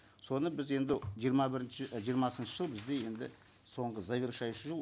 соны біз енді жиырма бірінші і жиырмасыншы жыл бізде енді соңғы завершающий жыл